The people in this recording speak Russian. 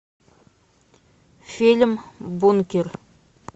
фильм бункер